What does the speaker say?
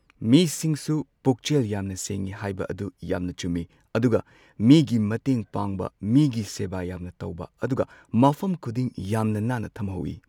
ꯃꯤꯁꯤꯡꯁꯨ ꯄꯨꯛꯆꯦꯜ ꯌꯥꯝꯅ ꯁꯦꯡꯉꯤ ꯍꯥꯏꯕ ꯑꯗꯨ ꯌꯥꯝꯅ ꯆꯨꯝꯃꯤ꯫ ꯑꯗꯨꯒ ꯃꯤꯒꯤ ꯃꯇꯦꯡ ꯄꯥꯡꯕ ꯃꯤꯒꯤ ꯁꯦꯕꯥ ꯌꯥꯝꯅ ꯇꯧꯕ ꯑꯗꯨꯒ ꯃꯐꯝ ꯈꯨꯗꯤꯡ ꯌꯥꯝꯅ ꯅꯥꯟꯅ ꯊꯝꯍꯧꯋꯤ꯫